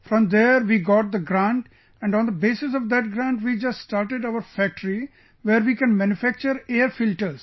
From there we got the grant and on the basis of that grant, we just started our factory where we can manufacture air filters